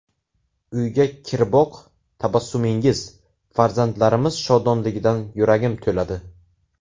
Uyga kiriboq tabassumingiz, farzandlarimiz shodonligidan yuragim to‘ladi.